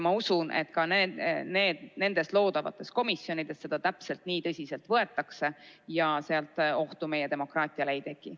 Ma usun, et ka nendes loodavates komisjonides seda täpselt nii tõsiselt võetakse ja sealt ohtu meie demokraatiale ei teki.